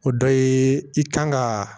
O dɔ ye i kan ka